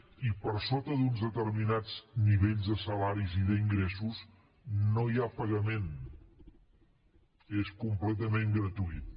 i per sota d’uns determinats nivells de salaris i d’ingressos no hi ha pagament és completament gratuït